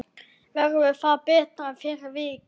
Verður það betra fyrir vikið?